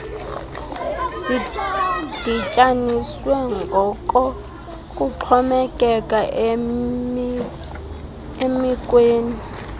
zidityaniswe ngokokuxhomekeke emekweni